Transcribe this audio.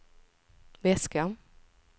väska